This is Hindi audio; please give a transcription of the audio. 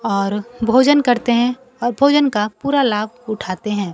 और भोजन करते हैं और भोजन का पूरा लाभ उठाते हैं।